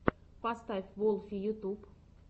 поставь волфи ютюб